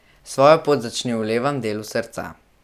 Svojo pot začni v levem delu srca.